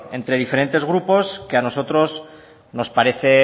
entre diferentes grupos que a nosotros nos parece